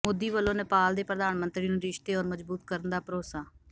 ਮੋਦੀ ਵਲੋਂ ਨੇਪਾਲ ਦੇ ਪ੍ਰਧਾਨ ਮੰਤਰੀ ਨੂੰ ਰਿਸ਼ਤੇ ਹੋਰ ਮਜ਼ਬੂਤ ਕਰਨ ਦਾ ਭਰੋਸਾ